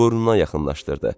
Burnuna yaxınlaşdırdı.